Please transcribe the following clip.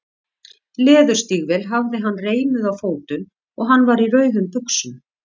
Leðurstígvél hafði hann reimuð á fótum og hann var í rauðum buxum.